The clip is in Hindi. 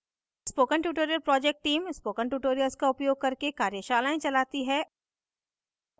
spoken tutorial project team spoken tutorials का उपयोग करके कार्यशालाएं चलाती है